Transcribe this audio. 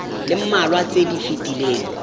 le mmalwa tse di fetileng